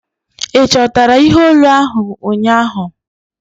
Ị chọtara ihe olu ahu ụnyaahụ?